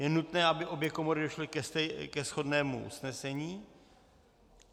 Je nutné, aby obě komory došly ke shodnému usnesení.